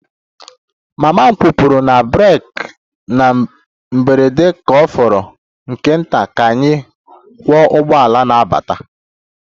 Mama m kwụpụrụ na breeki na mberede ka ọ fọrọ nke nta ka anyị kụọ ụgbọala na-abata